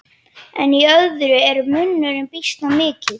En í öðrum er munurinn býsna mikill.